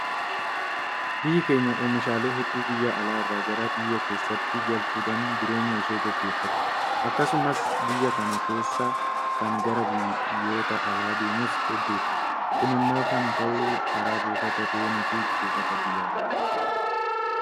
Biyyi keenya oomishaalee hedduu biyya alaa irraa gara biyya keessaatti galfachuudhaan jireenya ishee gaggeeffatti. Akkasumas biyya kana keessaa kan gara biyyoota alaa deemus hedduudha. Kun immoo kan ta'u karaa buufata dooniifi buufata Xiyyaaraati.